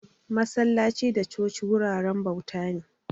Masallaci da coci wuraren bauta ne